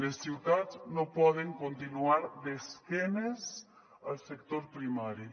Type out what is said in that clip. les ciutats no poden continuar d’esquena al sector primari